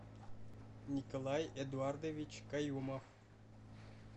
николай эдуардович каюмов